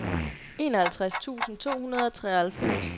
enoghalvtreds tusind to hundrede og treoghalvfems